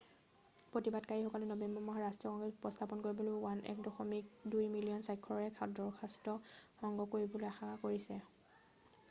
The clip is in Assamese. প্ৰতিবাদীসকলে নৱেম্বৰ মাহত ৰাষ্ট্ৰীয় কংগ্ৰেছত উপস্থাপন কৰিবলৈ 1.2 মিলিয়ন স্বাক্ষৰৰ এক দৰখাস্তক সংগ্ৰহ কৰিবলৈ আশা কৰিছে৷